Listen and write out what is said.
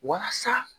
Walasa